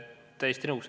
Olen täiesti nõus.